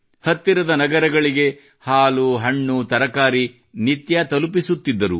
ಹತ್ತರದ ನಗರಗಳಿಗೆ ಹಶಲು ತರಕಾರಿ ನಿತ್ಯ ತಲುಪಿಸುತ್ತಿದ್ದರು